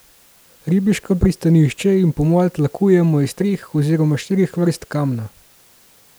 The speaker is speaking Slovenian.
Ribiško pristanišče in pomol tlakujejo iz treh oziroma štirih vrst kamna.